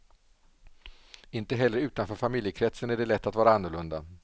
Inte heller utanför familjekretsen är det lätt att vara annorlunda.